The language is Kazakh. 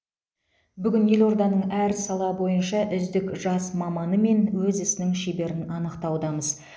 бүгін елорданың әр сала бойынша үздік жас маманы мен өз ісінің шеберін анықтаудамыз